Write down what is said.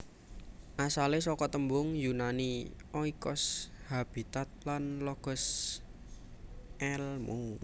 Asalé saka tembung Yunani oikos habitat lan logos èlmu